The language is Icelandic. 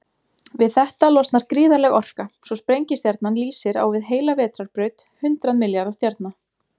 Við þetta losnar gríðarleg orka, svo sprengistjarnan lýsir á við heila vetrarbraut hundrað milljarða stjarna.